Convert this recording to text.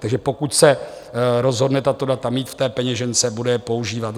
Takže pokud se rozhodne tato data mít v té peněžence, bude je používat.